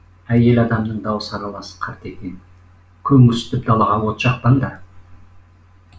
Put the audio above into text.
әйел адамның дауысы аралас қартекең көңірсітіп далаға от жақпаңдар